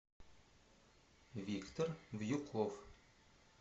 виктор вьюков